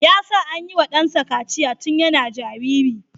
Ya sa an yiwa dansa kaciya tun yana jariri.